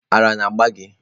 Ara ona agba gi?